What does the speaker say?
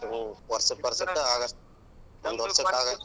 ಹ್ಮ್ ವರ್ಸಕ್ ವರ್ಸಕ್ ಒಂದ್ ವರ್ಸಕ ಆಗಷ್ಟು .